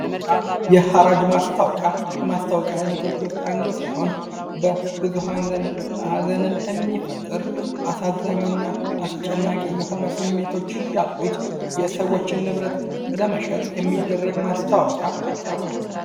የሐራጅ ማስታወቂያ ከማስታወቂያ አይነቶች አንዱ ሲሆን በብዙ ዘንድ ሃዘንን የሚፈጥር አሳዛኝና አስጨናቂ የሆነ ስሜቶች ያሉት የሰወችን ንብረት ለመሸጥ የሚደረግ ማስታወቂያ ነው።